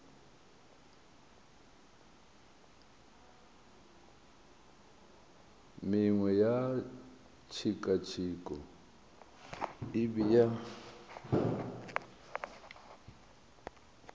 mengwe ya tshekatsheko e bea